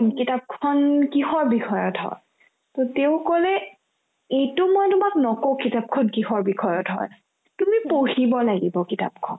কিতাপখন কিহৰ বিষয়ত হয় to তেওঁ ক'লে এইটো মই তোমাক নকও কিতাপখন কিহৰ বিষয়ত হয় তুমি পঢ়িব লাগিব কিতাপখন